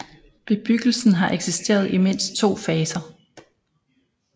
Bebyggelsen har eksisteret i mindst to faser